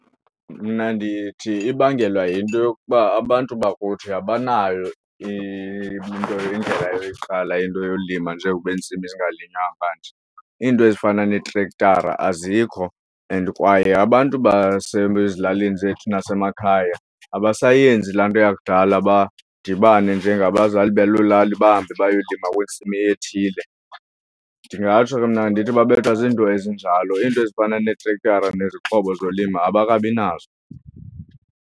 Mna ndithi ibangelwa yinto yokuba abantu bakuthi abanayo into indlela yoyiqala into yolima njengokuba intsimi zingalinywanga . Iinto ezifana neetrekthara azikho and kwaye abantu basezilalini zethu nasemakhaya abasayenzi laa nto yakudala badibane njengabazali baloo lali bahambe bayolima kwintsimi ethile. Ndingatsho ke mna ndithi babethwa zinto ezinjalo iinto ezifana neetrekthara nezixhobo zolimo abakabi nazo.